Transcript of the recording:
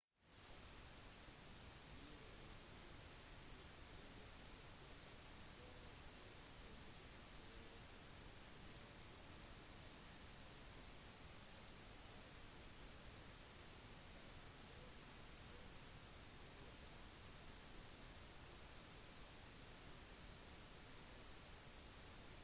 prøv å ta sikte på et sted hvor du ikke blir dradd med igjen eller avhengig av dyktigheten din og hvorvidt du har blitt lagt merke til kan du kanskje vente på å bli reddet